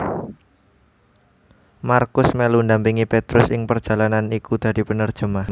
Markus melu ndampingi Petrus ing perjalanan iku dadi penerjemah